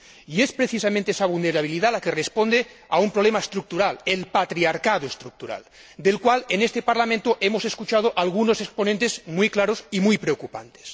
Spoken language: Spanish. Y es, precisamente, esa vulnerabilidad la que responde a un problema estructural, el patriarcado estructural, del cual en este Parlamento hemos escuchado algunos exponentes muy claros y muy preocupantes.